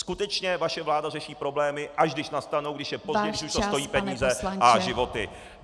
Skutečně, vaše vláda řeší problémy, až když nastanou, když je pozdě, když už to stojí peníze a životy.